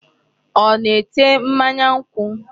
Ọ na-ete mmanya nkwụ?